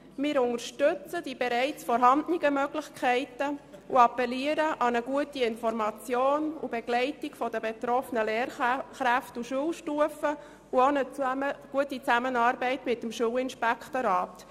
Wir unterstützen die bereits vorhandenen Möglichkeiten und appellieren an eine gute Information und Begleitung der betroffenen Lehrkräfte auf allen Schulstufen, und an eine gute Zusammenarbeit mit dem Schulinspektorat.